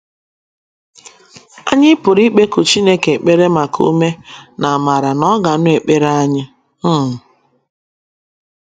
Anyị pụrụ ikpeku Chineke ekpere maka ume, na - amara na ọ ga - anụ ekpere anyị um.